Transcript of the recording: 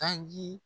Tanji